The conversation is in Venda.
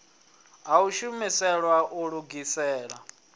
ha u shumiselwa u lugisela